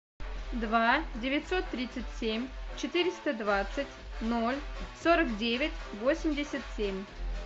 два девятьсот тридцать семь четыреста двадцать ноль сорок девять восемьдесят семь